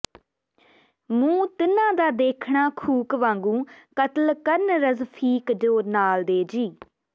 ਮੂੰਹ ਤਿੰਨਾਂ ਦਾ ਦੇਖਣਾ ਖੂਕ ਵਾਂਗੂੰ ਕਤਲ ਕਰਨ ਰਜਫੀਕ ਜੋ ਨਾਲ ਦੇ ਜੀ